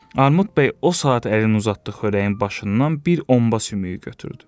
Armud bəy o saat əlini uzatdı xörəyin başından bir omba sümüyü götürdü.